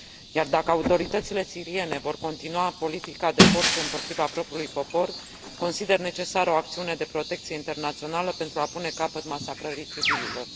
Iar dacă autoritățile siriene vor continua politica de forță împotriva propriului popor, consider necesară o acțiune de protecție internațională pentru a pune capăt masacrării civililor.